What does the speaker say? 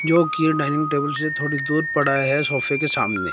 जो की dining table से थोड़ी दूर पड़ा है सोफे के सामने।